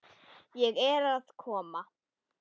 Ég er að koma.